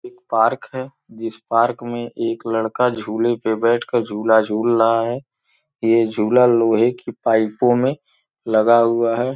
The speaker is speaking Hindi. एक पार्क है जिस पार्क में एक लड़का झूले पर बैठकर झूला झूल रहा है यह झूला लोहे की पाइपों में लगा हुआ है।